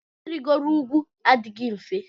Irigo ugwu adịghị mfe.